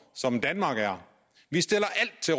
som danmark er vi stiller